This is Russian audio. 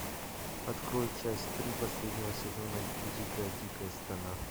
открой часть три последнего сезона дикая дикая страна